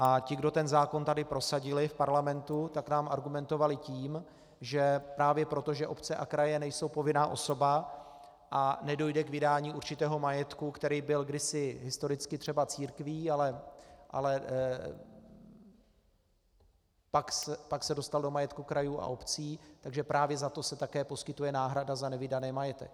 A ti, kdo ten zákon tady prosadili v parlamentu, tak nám argumentovali tím, že právě proto, že obce a kraje nejsou povinná osoba a nedojde k vydání určitého majetku, který byl kdysi historicky třeba církví, ale pak se dostal do majetku krajů a obcí, takže právě za to se také poskytuje náhrada za nevydaný majetek.